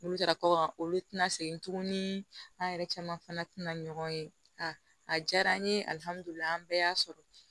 N'olu taara kɔkan olu tɛna segin tuguni an yɛrɛ caman fana tina ɲɔgɔn ye a diyara an ye ali an bɛɛ y'a sɔrɔ